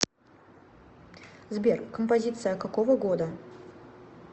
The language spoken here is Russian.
сбер композиция какого года